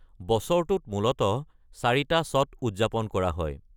বছৰটোত মূলতঃ চাৰিটা ছট উদযাপন কৰা হয়।